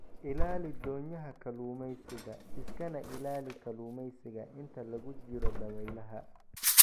Ilaali doonyaha kalluumaysiga iskana ilaali kalluumaysiga inta lagu jiro dabaylaha.